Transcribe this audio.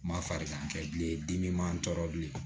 Ma farigan kɛ bilen dimi ma n tɔɔrɔ bilen